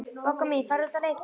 Bogga mín, farðu út að leika.